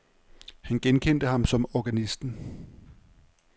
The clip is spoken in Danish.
Han genkendte ham som organisten.